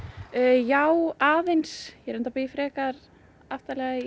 já aðeins ég reyndar bý frekar aftarlega í